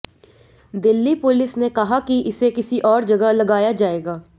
Delhi police ने कहा कि इसे किसी और जगह लगाया जाएगा